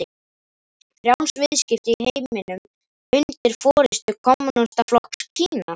Frjáls viðskipti í heiminum undir forystu kommúnistaflokks Kína?